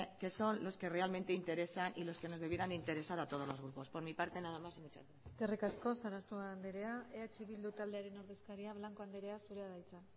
que son los que realmente interesa y los que nos debieran interesar a todos los grupos por mi parte nada más y muchas gracias eskerrik asko sarasua anderea eh bildu taldearen ordezkaria blanco anderea zurea da hitza